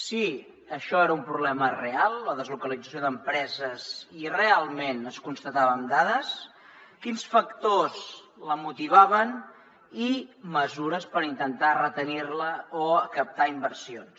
si això era un problema real la deslocalització d’empreses i realment es constatava amb dades quins factors la motivaven i mesures per intentar retenir la o captar inversions